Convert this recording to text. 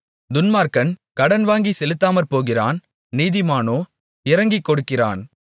துன்மார்க்கன் கடன் வாங்கிச் செலுத்தாமற் போகிறான் நீதிமானோ இரங்கிக்கொடுக்கிறான்